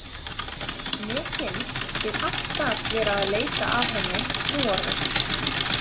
Mér finnst ég alltaf vera að leita að henni núorðið.